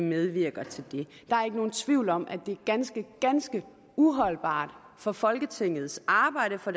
medvirker til det der er ikke nogen tvivl om at det er ganske ganske uholdbart for folketingets arbejde for